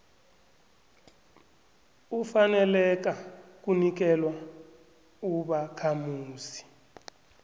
ufaneleka kunikelwa ubakhamuzi